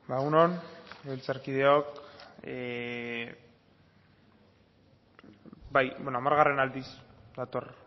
egun on legebiltzarkideok hamargarren aldiz dator